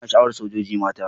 Ina sha'awar sojoji mata.